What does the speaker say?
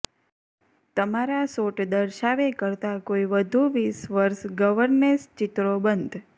તમારા શોટ દર્શાવે કરતાં કોઈ વધુ વીસ વર્ષ ગવર્નેસ ચિત્રો બંધ